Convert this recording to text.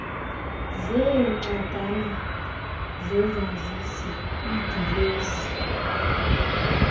zeencwadana zezazisi iidilesi